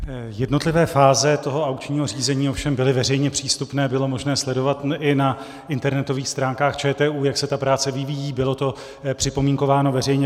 Jednotlivé fáze toho aukčního řízení ovšem byly veřejně přístupné, bylo možné sledovat i na internetových stránkách ČTÚ, jak se ta práce vyvíjí, bylo to připomínkováno veřejně.